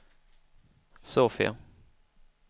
Sofia